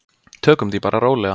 Tökum því bara rólega.